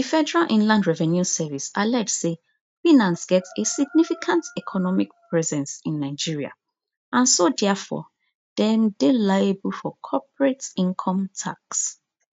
di federal inland revenue service allege say binance get a significant economic presence in nigeria and so diafor dem dey liable for corporate income tax